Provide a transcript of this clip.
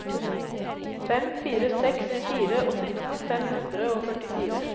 fem fire seks fire åttito fem hundre og førtifire